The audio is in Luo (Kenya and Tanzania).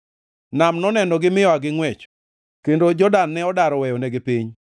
Nam nonenogi mi oa gi ngʼwech, kendo Jordan ne odar oweyonigi piny,